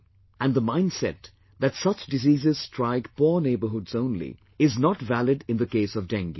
And the mindset that such diseases strike poor neighborhoods only, is not valid in the case of Dengue